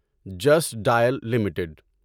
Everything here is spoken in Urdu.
just Dial limited